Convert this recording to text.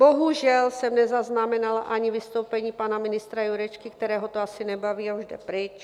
Bohužel jsem nezaznamenala ani vystoupení pana ministra Jurečky, kterého to asi nebaví a už jde pryč.